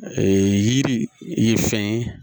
yiri ye fɛn ye